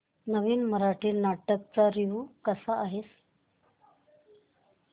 नवीन मराठी नाटक चा रिव्यू कसा आहे